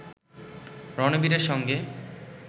রণবীরের সঙ্গে